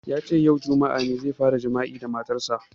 Yace yau, juma'a, ne ya fara jima'i da matan sa